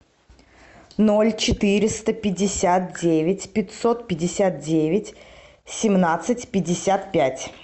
ноль четыреста пятьдесят девять пятьсот пятьдесят девять семнадцать пятьдесят пять